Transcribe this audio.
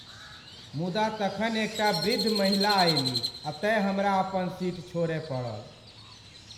मुदा तखन एकटा वृद्ध महिला अयलीह तेँ हमरा अपन सीट छोड़य पड़ल।